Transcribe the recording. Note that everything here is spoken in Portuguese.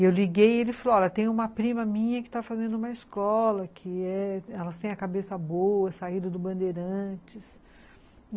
Eu liguei e ele falou, olha, tem uma prima minha que tá fazendo uma escola, elas têm a cabeça boa, saíram do Bandeirantes.